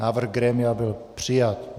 Návrh grémia byl přijat.